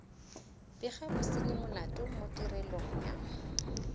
bega bosenyimolato mo tirelong ya